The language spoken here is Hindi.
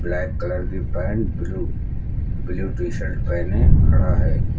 ब्लैक कलर की pant blue blue T shirt पेहने खड़ा है।